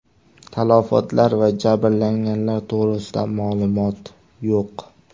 Talafotlar va jabrlanganlar to‘g‘risida ma’lumot yo‘q.